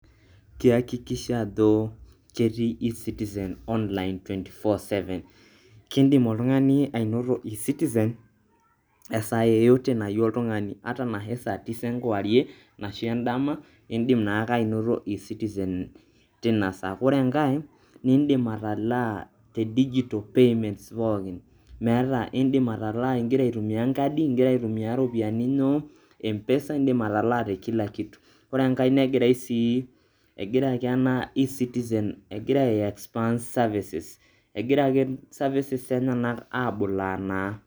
Kihakikisha ajo ketii ecitizen online, twenty-four seven. Kidim oltung'ani ainoto ecitizen esaa yeyote nayeu oltung'ani ata anahe saa tisa enkuwarie, anashu endama, indim naake ainoto ecitizen tinasaa. Kore enkai, nidim atalaa te digital payments pookin metaa indim atalaa ing'ira aitumia enkadi, ing'ira aitumia iropiani empesa, indim atalaa te kila kitu. kore enkai negirai sii egira ena ecitizen egira aiexpand services egira ake services enyenak abulaa naa.